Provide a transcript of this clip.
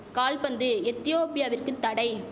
கால்பந்து எத்தியோப்பியாவிற்கு தடை